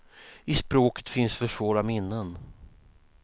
I språket finns för svåra minnen.